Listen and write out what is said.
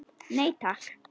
Nei, takk!